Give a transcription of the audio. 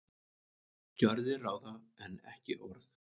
Gjörðir ráða en ekki orð